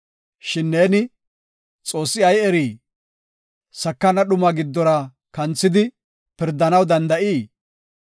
Shin neeni, ‘Xoossi ay erii? Sakana dhumaa giddora kanthidi, pirdanaw danda7ii?